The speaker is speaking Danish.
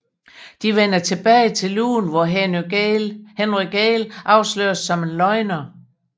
De vender tilbage til lugen hvor Henry Gale afsløres som en løgner